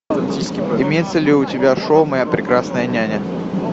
имеется ли у тебя шоу моя прекрасная няня